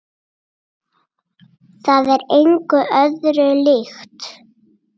Það er engu öðru líkt.